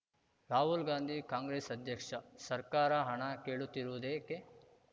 ರಾಹುಲ್‌ ಗಾಂಧಿ ಕಾಂಗ್ರೆಸ್‌ ಅಧ್ಯಕ್ಷ ಸರ್ಕಾರ ಹಣ ಕೇಳುತ್ತಿರುವುದೇಕೆ